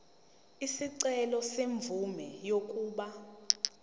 isicelo semvume yokuba